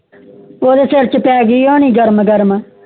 ਓਦੇ ਸਿਰ ਛੇ ਪੈ ਗਯੀ ਹੋਣੀ ਗਰਮ